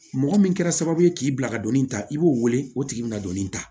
Mɔgɔ min kɛra sababu ye k'i bila ka don nin ta i b'o wele o tigi bɛna don nin ta